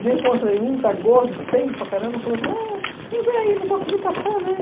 Reencontrei um, está gordo, feio para caramba, falou assim, ah, bem aí, não consegui passar, né?